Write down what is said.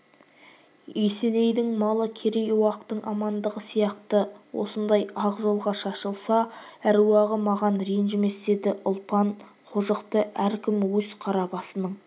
есенейдің малы керей-уақтың амандығы сияқты осындай ақ жолға шашылса аруағы маған ренжімес деді ұлпан қожықты әркім өз қара басының